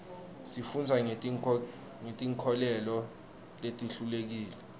sifundza ngeti nkholelo letihlukile